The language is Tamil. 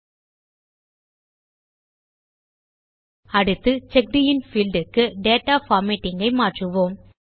ல்ட்பாசெக்ட் அடுத்து செக்ட் இன் பீல்ட் க்கு டேட்டா பார்மேட்டிங் ஐ மாற்றுவோம்